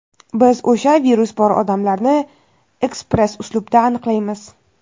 biz o‘sha virus bor odamlarni ekspress uslubda aniqlaymiz.